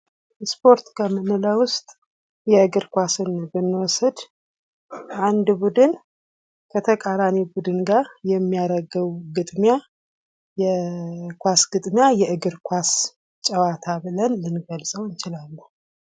ስፖርት ከምንለው ውስጥ የእግር ኳስን ብንወስድ አንድ ቡድን ከተቃራኒ ቡድን ጋር የሚያደርገው ግጥሚያ የኳስ ግጥሚያ የእግር ኳስ ጨዋታ ብለን ልንገልፀው እንችላለን።